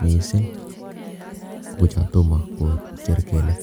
mising ko chotomo kocher kelek.